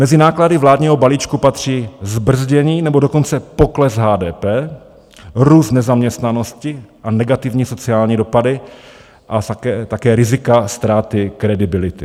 Mezi náklady vládního balíčku patří zbrzdění nebo dokonce pokles HDP, růst nezaměstnanosti a negativní sociální dopady a také rizika ztráty kredibility.